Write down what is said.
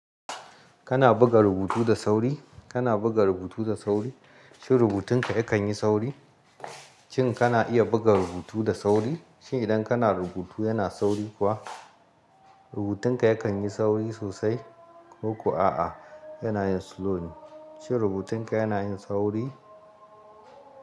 Kana buga rubutu da sauri? Kana buga rubutu da sauri? Shin rubutun ka yakan yi sauri? Shin kana iya buga rubutu da sauri? Shin idan kana rubutu yana sauri kuwa? Rubutun ka yakan yi sauri sosai ko kuwa a'a yana yin slow ne? Shin rubutun ka yana yin sauri?